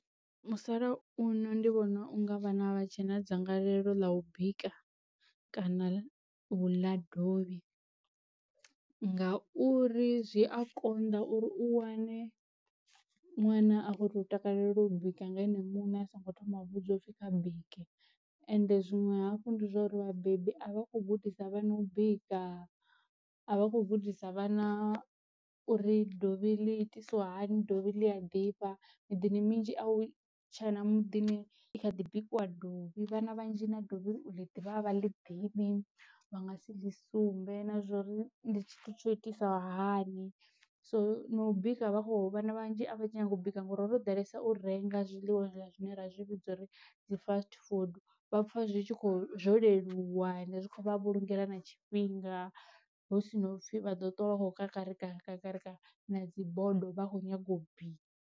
Musalauno ndi vhona unga vhana a vha tshe na dzangalelo ḽa u bika kana uḽa dovhi, ngauri zwi a konḓa uri u wane ṅwana a kho to u takalela u bika nga ene muṋe a songo thoma vhudzwa upfhi kha bike. Ende zwinwe hafhu ndi zwauri vhabebi a vha khou gudisa vhana u bika, a vha khou gudisa vhana uri dovhi ḽi itisiwa hani dovhi ḽi a ḓifha, miḓini minzhi a u tshe na muḓini i kha ḓi bikiwa dovhi. Vhana vhanzhi na dovhi uḽi ḓivha a vha ḽi ḓivhi vha nga si ḽi sumbe na zwori ndi tshithu tsho itisa hani so, na u bika vha kho vhana vhanzhi a vha nyagi u bika ngauri ho ḓalesa u renga zwiḽiwa zwine ra zwi vhidza uri dzi fast food vha pfa zwi tshi kho zwo leluwa zwi khou vhulungela na tshifhinga hu si no pfi vha ḓo tuwa vha kho kakarika kakarika na dzi bodo vha kho nyaga u bika.